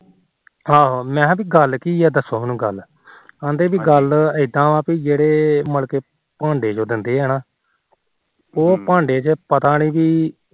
ਆਹੋ ਤੇ ਮੈ ਕਿਹਾ ਗੱਲ ਕੀ ਏ ਦੱਸੋ ਗੱਲ ਕਹਿੰਦੇ ਪੀ ਗੱਲ ਇਦਾ ਆ ਜਿਹੜੇ ਮੁੜਕੇ ਭਾਂਡੇ ਜੋ ਦਿੰਦੇ ਆ ਨਾ ਉਹ ਭਾਡੇ ਚ ਪਤਾ ਨੀ ਜੀ